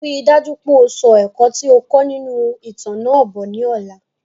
Rí dájú pé o so ẹ̀kọ́ ti o kọ́ nínú ìtàn náà bo ni ọ̀la